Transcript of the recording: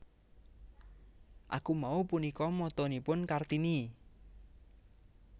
Aku Mau punika motonipun Kartini